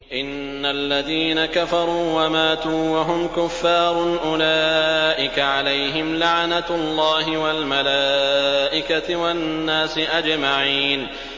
إِنَّ الَّذِينَ كَفَرُوا وَمَاتُوا وَهُمْ كُفَّارٌ أُولَٰئِكَ عَلَيْهِمْ لَعْنَةُ اللَّهِ وَالْمَلَائِكَةِ وَالنَّاسِ أَجْمَعِينَ